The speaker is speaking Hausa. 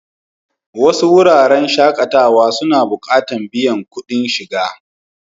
Wasu wuraren shakatawa suna buƙatan biyan kuɗin shiga.